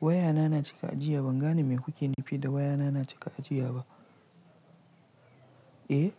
Wayana na cika ajiya. Ban gane me kuke nufi da wayana na cika ajiya ba. Eh?